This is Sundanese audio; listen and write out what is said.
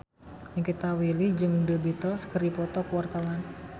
Nikita Willy jeung The Beatles keur dipoto ku wartawan